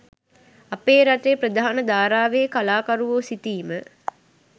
අපේ රටේ ප්‍රධාන ධාරාවේ කලාකරුවෝ සිතීම